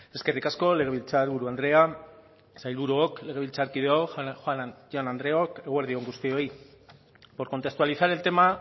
eskerrik asko legebiltzarburu andrea sailburuok legebiltzarkideok jaun andreok eguerdi on guztioi por contextualizar el tema